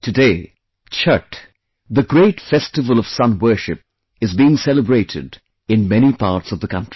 Today, 'Chhath', the great festival of sun worship is being celebrated in many parts of the country